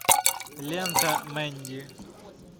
лента мэнди